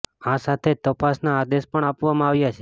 આ સાથે જ તપાસના આદેશ પણ આપવામાં આવ્યા છે